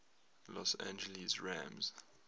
los angeles rams